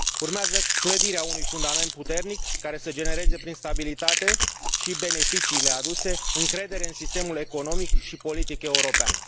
Urmează clădirea unui fundament puternic, care să genereze prin stabilitate și beneficiile aduse încredere în sistemul economic și politic european.